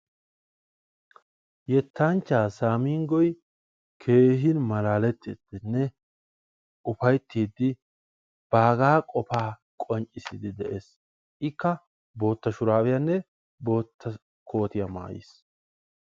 Yettanchcha Saminggoy keehin malalteidinne uffayttidi baggara qofa qonccissid de'ees. ikka bootta shuraabiyaanne bootta koottiya maayiis.